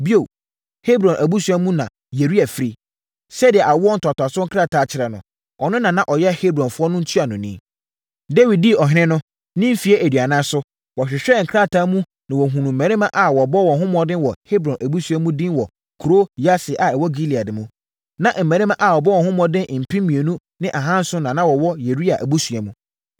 Bio, Hebron abusua mu na Yeria firi. Sɛdeɛ awoɔ ntoatoasoɔ nkrataa kyerɛ no, ɔno na na ɔyɛ Hebronfoɔ no ntuanoni. (Dawid dii ɔhene no, ne mfeɛ aduanan so, wɔhwehwɛɛ nkrataa mu na wɔhunuu mmarima a wɔbɔ wɔn ho mmɔden wɔ Hebron abusua no mu din wɔ kuro Yaser a ɛwɔ Gilead mu.